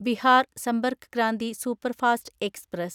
Bihar Sampark Kranti superfast express